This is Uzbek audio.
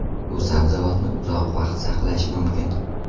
Bu sabzavotni uzoq vaqt saqlash mumkin.